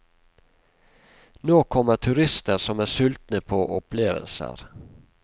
Nå kommer turister som er sultne på opplevelser.